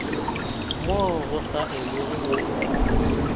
moo go sa elwego go